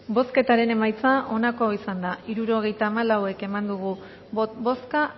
bozketaren emaitza onako izan da hirurogeita hamalau eman dugu bozka